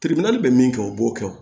bɛ min kɛ u b'o kɛ